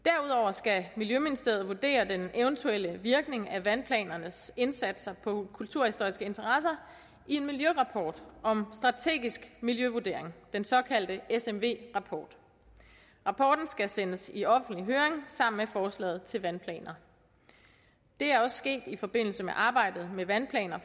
skal miljøministeriet vurdere den eventuelle virkning af vandplanernes indsatser på kulturhistoriske interesser i en miljørapport om strategisk miljøvurdering den såkaldte smv rapport rapporten skal sendes i offentlig høring sammen med forslaget til vandplaner det er også sket i forbindelse med arbejdet med vandplaner